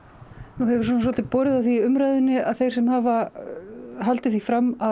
nú hefur svona svolítið borið á því í umræðunni að þeir sem hafa haldið því fram að